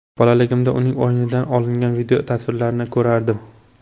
Bolaligimda uning o‘yinidan olingan videotasvirlarini ko‘rardim.